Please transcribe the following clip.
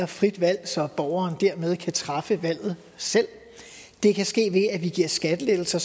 frit valg så borgeren dermed kan træffe valget selv det kan ske ved at vi giver skattelettelser